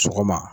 Sɔgɔma